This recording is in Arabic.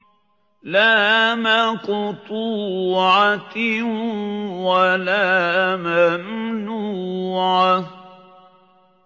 لَّا مَقْطُوعَةٍ وَلَا مَمْنُوعَةٍ